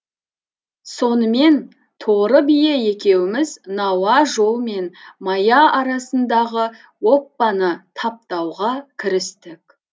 сонымен торы бие екеуміз науа жол мен мая арасындағы оппаны таптауға кірістік